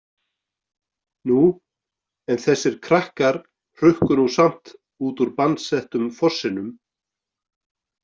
Nú, en þessir krakkar hrukku nú samt út úr bannsettum fossinum